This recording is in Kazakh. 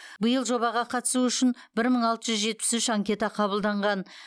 биыл жобаға қатысу үшін бір мың алты жүз жетпіс үш анкета қабылданған